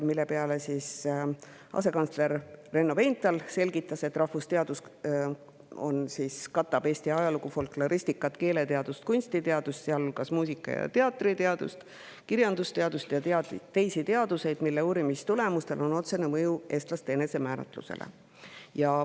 Selle peale selgitas asekantsler Renno Veinthal, et rahvusteadused katavad Eesti ajalugu, folkloristikat, keeleteadust, kunstiteadust, sealhulgas muusika‑ ja teatriteadust, kirjandusteadust ja teisi teadusi, mille uurimistulemustel on otsene mõju eestlaste enesemääratlusele.